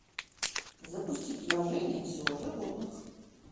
запусти приложение все о животных